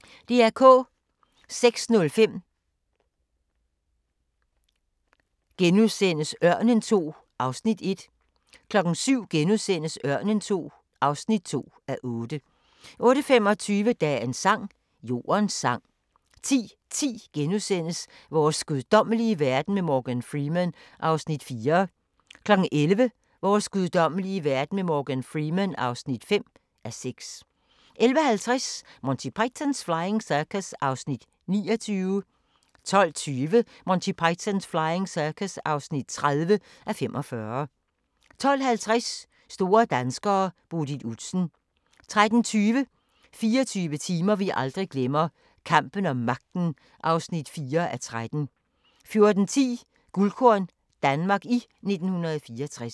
06:05: Ørnen II (1:8)* 07:00: Ørnen II (2:8)* 08:25: Dagens sang: Jordens sang 10:10: Vores guddommelige verden med Morgan Freeman (4:6)* 11:00: Vores guddommelige verden med Morgan Freeman (5:6) 11:50: Monty Python's Flying Circus (29:45) 12:20: Monty Python's Flying Circus (30:45) 12:50: Store danskere: Bodil Udsen 13:20: 24 timer vi aldrig glemmer – Kampen om magten (4:13) 14:10: Guldkorn - Danmark i 1964